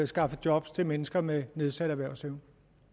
skaffe job til mennesker med nedsat erhvervsevne